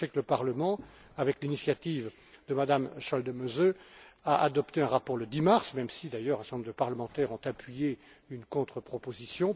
Je sais que le Parlement, à l'initiative de M me Schaldemose, a adopté un rapport le 10 mars même si, d'ailleurs, un certain nombre de parlementaires ont appuyé une contre proposition.